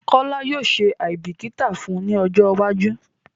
Kola yóò ṣe aìbíkítà fun ni ọjọ́ iwájú